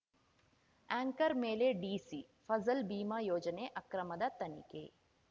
anchor ಮೇಲೆ DC Fasal Bima ಯೋಜನೆ ಅಕ್ರಮದ ತನಿಖೆ